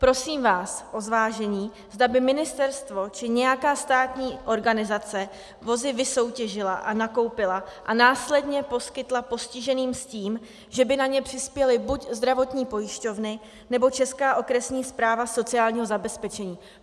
Prosím vás o zvážení, zda by ministerstvo či nějaká státní organizace vozy vysoutěžila a nakoupila a následně poskytla postiženým s tím, že by na ně přispěly buď zdravotní pojišťovny, nebo Česká okresní správa sociálního zabezpečení.